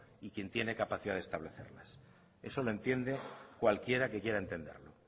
y quien tiene capacidad de establecerlas eso lo entiende cualquiera que quiera entenderlo